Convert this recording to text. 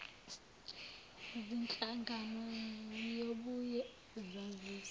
zinhlangano ziyobuye zazise